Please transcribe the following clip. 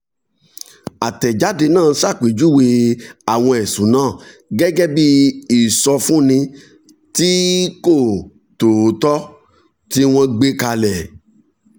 àtẹ̀jáde náà ṣàpèjúwe àwọn ẹ̀sùn náà gẹ́gẹ́ bí ìsọfúnni tí kò tòótọ́ tí wọ́n gbé kalẹ̀